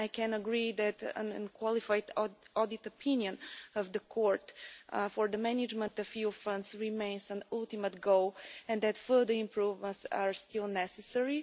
I can agree that an unqualified audit opinion of the Court for the management of EU funds remains an ultimate goal and that further improvements are still necessary.